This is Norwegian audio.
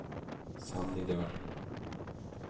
Sannidal